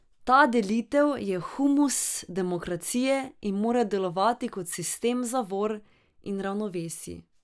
Ta delitev je humus demokracije in mora delovati kot sistem zavor in ravnovesij.